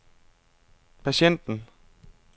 patienten